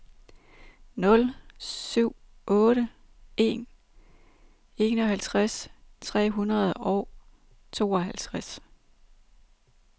nul syv otte en enoghalvtreds tre hundrede og tooghalvtreds